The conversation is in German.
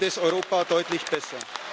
Dann geht es Europa deutlich besser.